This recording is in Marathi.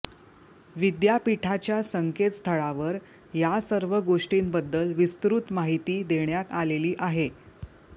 विद्यापीठाच्या संकेतस्थळावर या सर्व गोष्टींबद्दल विस्तृत माहिती देण्यात आलेली आहे